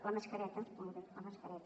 la mascareta molt bé la mascareta